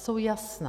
Jsou jasná.